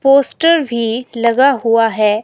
Poster भी लगा हुआ है।